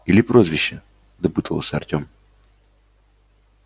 или прозвище допытывался артем